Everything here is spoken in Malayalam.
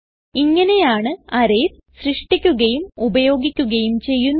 ഇങ്ങനെയാണ് അറേയ്സ് സൃഷ്ടിക്കുകയും ഉപയോഗിക്കുകയും ചെയ്യുന്നത്